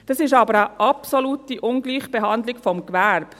Dies ist aber eine absolute Ungleichbehandlung des Gewerbes.